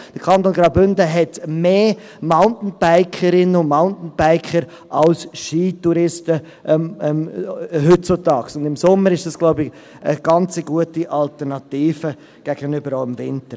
Der Kanton Graubünden hat heutzutage mehr Mountainbikerinnen und Mountainbiker im Sommer als Skitouristen, und ich glaube, im Sommer ist dies auch eine ganz gute Alternative gegenüber dem Winter.